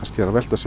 velta